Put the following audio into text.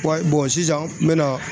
Wa sisan n bɛ na